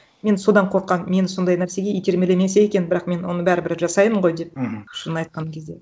мен содан қорқамын мені сондай нәрсеге итермелемесе екен бірақ мен оны бәрібір жасаймын ғой деп мхм шынын айтқан кезде